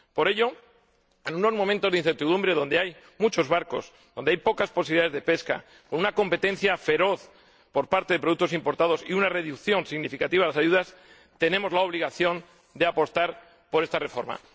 Por ello, en unos momentos de incertidumbre donde hay muchos barcos, donde hay pocas posibilidades de pesca, con una competencia feroz por parte de productos importados y una reducción significativa de las ayudas, tenemos la obligación de apostar por esta reforma.